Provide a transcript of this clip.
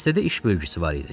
Dəstədə iş bölgüsü var idi.